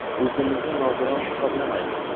O‘zimizni nogiron hisoblamaymiz.